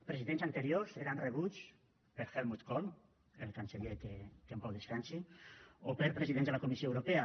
presidents anteriors eren rebuts per helmut kohl el canceller que en pau descansi o per presidents de la comissió europea